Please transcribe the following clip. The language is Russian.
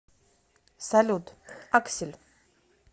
салют аксель